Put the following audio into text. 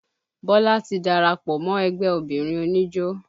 Bọlá ti darapọ̀ mọ́ ẹgbẹ́ obìnrin oníjó